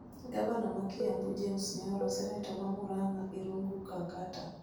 Gavana mar Kiambu, James Nyoro, Seneta ma Muranga, Irungu Kangata,